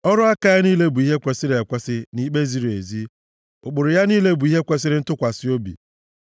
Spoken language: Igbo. Ọrụ aka ya niile bụ ihe kwesiri ekwesi na ikpe ziri ezi; ụkpụrụ ya niile bụ ihe kwesiri ntụkwasị obi.